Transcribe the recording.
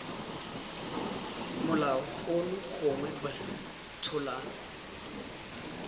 molao ono gongwe b tsholang